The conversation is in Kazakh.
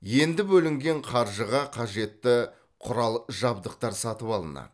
енді бөлінген қаржыға қажетті құрал жабдықтар сатып алынады